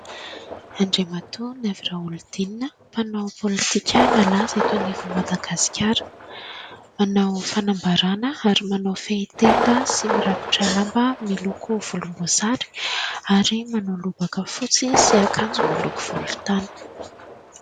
Andriamatoa Naivo Raholdina, mpanao pôlitika malaza eto anivon'i Madagasikara. Manao fanambaràna ary manao fehitenda sy mirakotra lamba miloko volomboasary ary manao lobaka fotsy sy akanjo miloko volontany.